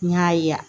N y'a ye yan